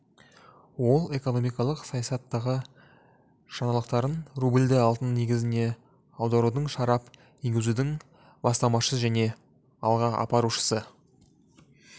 ол экономикалық саясаттағы жаңалықтардың рубльді алтын негізіне аударудың шарап енгізудің бастамашысы және алға апарушысы